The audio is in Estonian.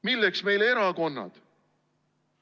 Milleks meile erakonnad?